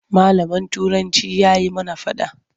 Malamin Turanci ya yi mana faɗa.